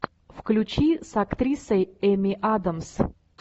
включи с актрисой эми адамс